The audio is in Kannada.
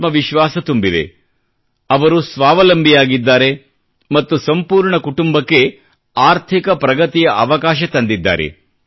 ಆತ್ಮವಿಶ್ವಾಸ ತುಂಬಿದೆ ಅವರು ಸ್ವಾವಲಂಬಿಯಾಗಿದ್ದಾರೆ ಮತ್ತು ಸಂಪೂರ್ಣ ಕುಟುಂಬಕ್ಕೆ ಆರ್ಥಿಕ ಪ್ರಗತಿಯ ಅವಕಾಶ ತಂದಿದ್ದಾರೆ